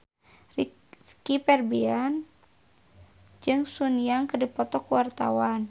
Rizky Febian jeung Sun Yang keur dipoto ku wartawan